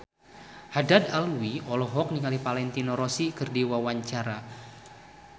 Haddad Alwi olohok ningali Valentino Rossi keur diwawancara